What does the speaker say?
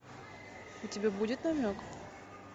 у тебя будет намек